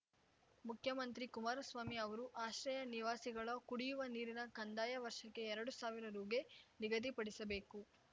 ಮುಖ್ಯಮಂತ್ರಿ ಕುಮಾರಸ್ವಾಮಿ ಅವರು ಆಶ್ರಯ ನಿವಾಸಿಗಳ ಕುಡಿಯುವ ನೀರಿನ ಕಂದಾಯ ವರ್ಷಕ್ಕೆ ಎರಡು ಸಾವಿರ ರುಗೆ ನಿಗದಿಪಡಿಸಬೇಕು